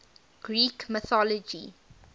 greek mythology